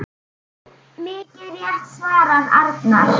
Mikið rétt svarar Arnar.